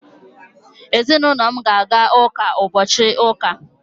ezinulo m na-aga uka ubochi uka